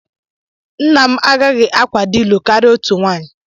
Nna m agaghị akwado ịlụ karịa otu nwaanyị